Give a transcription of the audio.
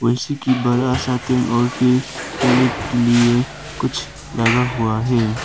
बड़ा सा कुछ लगा हुआ है।